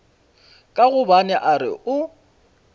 ka gobane a re o